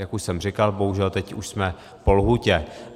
Jak už jsem říkal, bohužel teď už jsme po lhůtě.